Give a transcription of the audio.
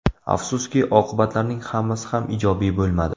Afsuski, oqibatlarning hammasi ham ijobiy bo‘lmadi.